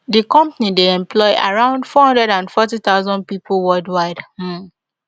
di company dey employ around four hundred and forty thousand pipo worldwide um